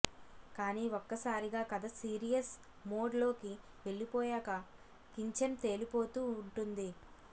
కాని ఒక్కసారిగా కథ సీరియస్ మోడ్ లోకి వెళ్ళిపోయాక కించెం తేలిపోతూ ఉంటుంది